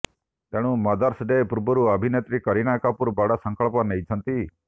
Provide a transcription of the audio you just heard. ତେଣୁ mother's day ପୂର୍ବରୁ ଅଭିନେତ୍ରୀ କରୀନା କପୁର ବଡ ସଂକଳ୍ପ ନେଇଛନ୍ତି